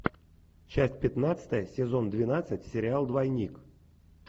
часть пятнадцатая сезон двенадцать сериал двойник